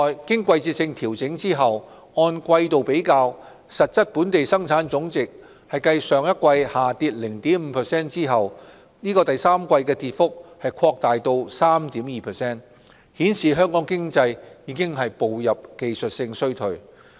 經季節性調整後按季比較，實質本地生產總值繼上一季下跌 0.5% 後，在第三季的跌幅擴大至 3.2%， 顯示香港經濟已步入技術性衰退。